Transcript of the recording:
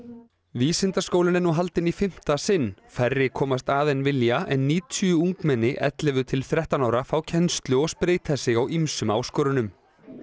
vísindaskólinn er nú haldinn í fimmta sinn færri komast að en vilja en níutíu ungmenni ellefu til þrettán ára fá kennslu og spreyta sig á ýmsum áskorunum